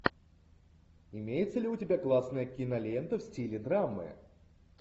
имеется ли у тебя классная кинолента в стиле драмы